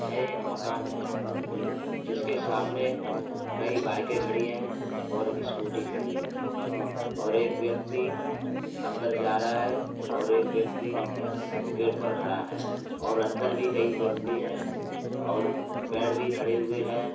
यह एक मकान है जिसके सामने कई बाइके खड़ी हैं और स्कूटी खड़ी है और एक व्यक्ति अन्दर जा रहा है और एक व्यक्ति गेट पर खड़ा है और अन्दर भी कई व्यक्ति हैं और पेड़ भी खड़े हुए हैं।